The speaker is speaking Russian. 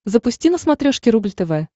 запусти на смотрешке рубль тв